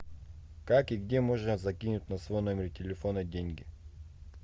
как и где можно закинуть на свой номер телефона деньги